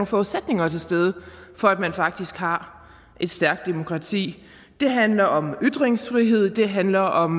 forudsætninger til stede for at man faktisk har et stærkt demokrati det handler om ytringsfrihed det handler om